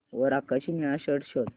वर आकाशी निळा शर्ट शोध